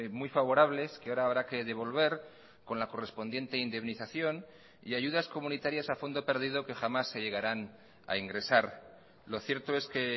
muy favorables que ahora habrá que devolver con la correspondiente indemnización y ayudas comunitarias a fondo perdido que jamás se llegaran a ingresar lo cierto es que